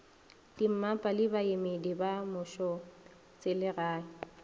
dimmapa le baemedi ba mmušoselegae